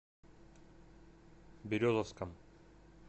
березовском